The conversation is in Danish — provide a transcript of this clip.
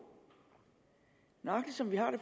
nøjagtig som det er